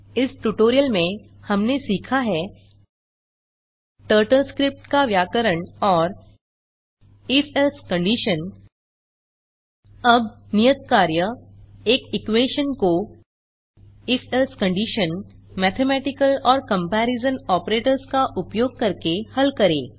इस ट्यूटोरियल में हमने सीखा है टर्टल स्क्रिप्ट का व्याकरण और if एल्से कंडिशन अब नियत कार्य एक इक्वेशन को इफ - एल्से कंडिशन मैथमेटिकल और कंपेरिजन ऑपरेटर्स का उपयोग करके हल करें